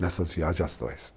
Nessas viagens astrais.